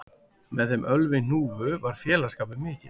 Með þeim Ölvi hnúfu var félagsskapur mikill